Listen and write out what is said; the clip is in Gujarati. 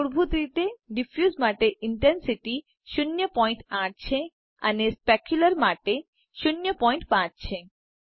મૂળભૂત રીતે ડીફયુસ માટે ઇન્ટેન્સીટી 08 છે અને સ્પેક્યુલ્રર માટે 05 છે